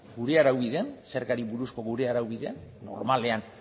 gure araubidean zergari buruzko gure araubidean normalean